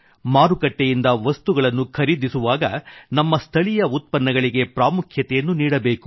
ಮಾರುಕಟ್ಟೆಯಿಂದ ವಸ್ತುಗಳನ್ನು ಖರೀದಿಸುವಾಗ ನಮ್ಮ ಸ್ಥಳೀಯ ಉತ್ಪನ್ನಗಳಿಗೆ ಪ್ರಾಮುಖ್ಯತೆಯನ್ನು ನೀಡಬೇಕು